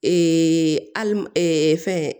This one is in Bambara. a fɛn